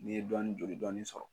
N'i ye dɔɔnin joli dɔɔnin sɔrɔ